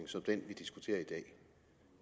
som den vi diskuterer i dag